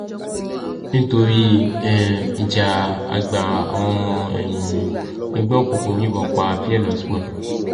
nítorí um ìjà àgbà àwọn ọmọ um ẹgbẹ́ òkùnkùn yìnbọn pa pearl